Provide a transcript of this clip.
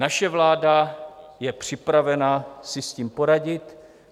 Naše vláda je připravena si s tím poradit.